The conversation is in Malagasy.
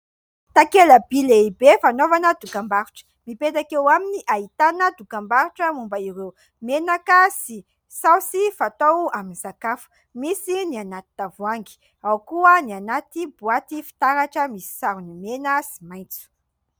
Takela-by lehibe fanaovana dokam-barotra, mipetaka eo aminy ahitana dokam-barotra momba ireo menaka sy saosy fatao amin'ny sakafo, misy ny anaty tavoahangy, ao koa ny anaty boaty fitaratra misy sarony mena sy maitso.